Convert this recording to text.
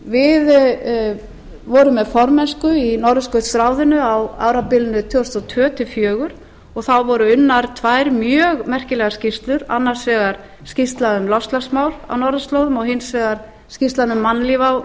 við vorum með formennsku í norðurskautsráðinu á árabilinu tvö þúsund og tvö til tvö þúsund og fjögur og þá voru unnar tvær mjög merkilegar skýrslur annars vegar skýrsla um loftslagsmál á norðurslóðum og hins vegar skýrslan um mannlíf